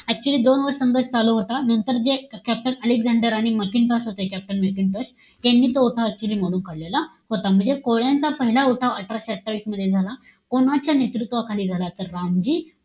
Actually दोन संघर्ष चालू होतात. नंतर जे captain अलेक्सान्डर आणि मॅकेन्टोश होते, captain मॅकेन्टोश, त्यांनी तो उठाव actually मोडून काढलेला होता. म्हणजे कोळ्यांचा पहिला उठाव अठराशे अठ्ठावीस मध्ये झाला. कोणाच्या नेतृत्वाखाली झाला? तर, रामजी,